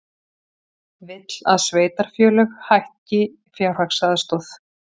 Vill að sveitarfélög hækki fjárhagsaðstoð